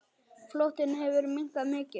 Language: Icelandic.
Flotinn hefur minnkað mikið.